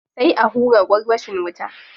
Sai a hura gwarwashin wuta.